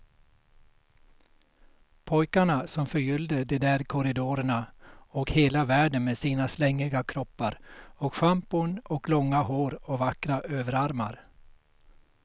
Pojkarna som förgyllde de där korridorerna och hela världen med sina slängiga kroppar och schampon och långa hår och vackra överarmar.